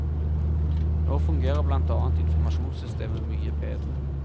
Nå fungerer blant annet informasjonssystemet mye bedre.